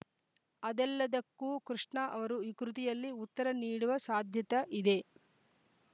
ಅದೆಲ್ಲದಕ್ಕೂ ಕೃಷ್ಣ ಅವರು ಈ ಕೃತಿಯಲ್ಲಿ ಉತ್ತರ ನೀಡುವ ಸಾಧ್ಯತ ಯಿದೆ